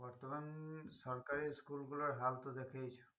বর্তমান সরকারি school গুলোর হাল তো দেখেইছো